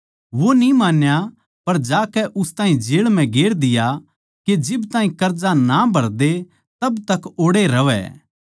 वो न्ही मान्या पर जाकै उस ताहीं जेळ म्ह गेर दिया के जिब ताहीं कर्जा ना भर दे जिद ताहीं ओड़ैए रहवै